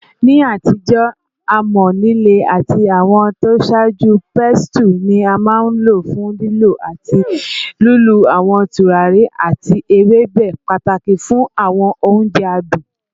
Ni atijo, amọ-lile ati awọn tosaaju pestle ni a maa n lo fun lilọ ati lilu awọn turari ati ewebe, pataki fun awọn ounjẹ adun.